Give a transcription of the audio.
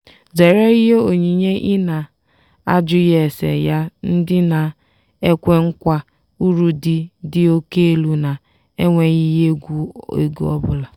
zere ihe onyinye i na-ajughi ese ya ndị na-ekwe nkwa uru dị dị oke elu na-enweghị ihe egwu ego ọbụla.